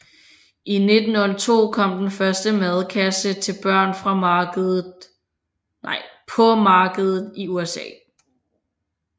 I 1902 kom den første madkasse til børn på markedet i USA